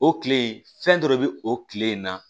O kile in fɛn dɔ de bɛ o kile in na